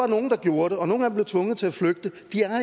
nogle der gjorde det og nogle af dem blev tvunget til at flygte